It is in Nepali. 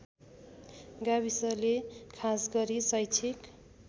गाविसले खासगरी शैक्षिक